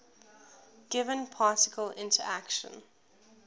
given particle interaction